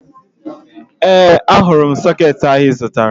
Ee, ahụrụ m sọkeetị ahụ ị zụtara